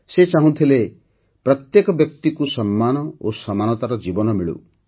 ସେ ଚାହୁଁଥିଲେ ଯେ ପ୍ରତ୍ୟେକ ବ୍ୟକ୍ତିକୁ ସମ୍ମାନ ଓ ସମାନତାର ଜୀବନ ମିଳୁ